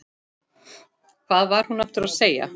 Hvað var hún að segja?